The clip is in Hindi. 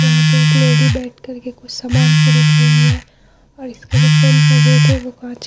यहाँ पे एक लेडी बैठ करके कुछ समान खरीद रही है और इसका जो फ्रंट का गेट है वो कांच --